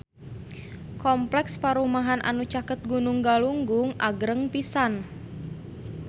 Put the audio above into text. Kompleks perumahan anu caket Gunung Galunggung agreng pisan